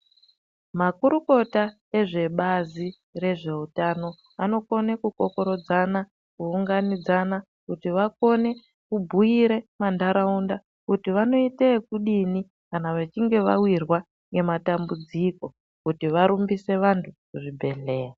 Makurukota ezvebazi rezveutano anokone kukokorodzana kuunganidzana kuti vakone kubhuire mantaraunda kuti vanoite ekudini kana vechinge vawirwa ngematambudziko kuti varumbise vantu kuchibhedhlera